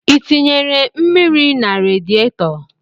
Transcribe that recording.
I tinyere mmiri na radietọ?